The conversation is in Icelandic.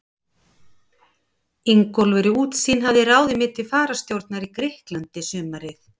Ingólfur í Útsýn hafði ráðið mig til fararstjórnar í Grikklandi sumarið